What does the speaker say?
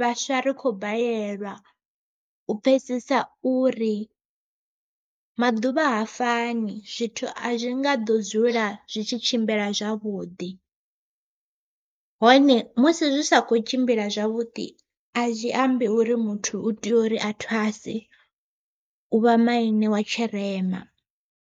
vhaswa ri kho balelwa u pfhesesa uri maḓuvha ha fani zwithu a zwi ngo nga ḓo dzula zwi tshi tshimbila zwavhuḓi. Hone musi zwi sa kho tshimbila zwavhuḓi, a zwi ambi uri muthu u tea uri a thwase u vha maine wa tshirema.